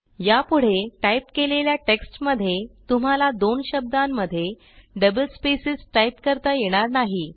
यापुढे टाईप केलेल्या टेक्स्टमध्ये तुम्हाला दोन शब्दांमध्ये डबल स्पेस टाईप करता येणार नाही